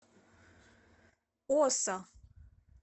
оса